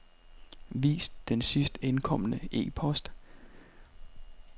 Vis den sidst indkomne e-post.